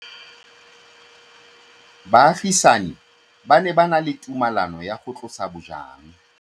Baagisani ba ne ba na le tumalanô ya go tlosa bojang.